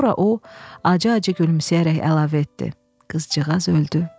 Sonra o acı-acı gülümsəyərək əlavə etdi: qızcığaz öldü.